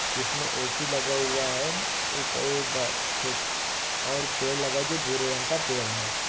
इसमें ऐसी लगा हुआ है रुपए और पेड़ लगाओ जो बुरे रंग का पेड़ है।